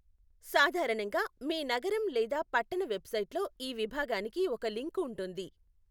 సాధారణంగా, మీ నగరం లేదా పట్టణ వెబ్సైట్లో ఈ విభాగానికి ఒక లింక్ ఉంటుంది.